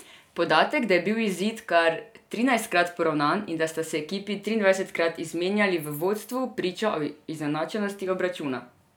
Podatek, da je bil izid kar trinajstkrat poravnan in da sta se ekipi triindvajsetkrat izmenjali v vodstvu, priča o izenačenosti obračuna.